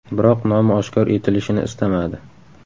Biroq nomi oshkor etilishini istamadi.